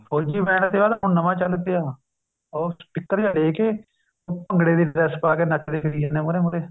ਫ਼ੋਜੀ band ਦੇ ਬਾਅਦ ਹੁਣ ਨਵਾਂ ਚੱਲ ਪਿਆ ਉਹ ਸਪੀਕਰ ਜਾ ਲੇਕੇ ਭੰਗੜੇ ਦੀ dress ਪਾ ਕੇ ਨੱਚਦੇ ਫਿਰੀ ਜਾਂਦੇ ਹੈ ਮੂਹਰੇ ਮੂਹਰੇ